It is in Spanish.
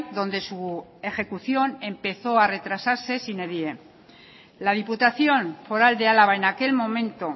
donde su ejecución empezó a retrasarse sine die la diputación foral de álava en aquel momento